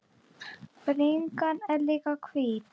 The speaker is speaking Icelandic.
Bringan er líka hvít.